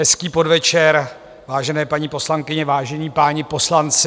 Hezký podvečer, vážené paní poslankyně, vážení páni poslanci.